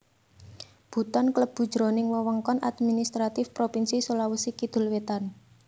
Buton klebu jroning wewengkon administratif Propinsi Sulawesi Kidul wétan